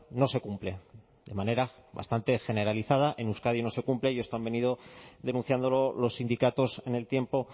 no se cumple de manera bastante generalizada en euskadi no se cumple y esto han venido denunciándolo los sindicatos en el tiempo